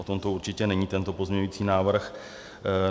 O tom určitě není tento pozměňovací návrh.